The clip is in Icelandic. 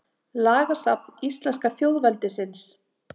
Lagasafn íslenska þjóðveldisins.